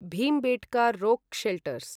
Bhimbetka rock shelters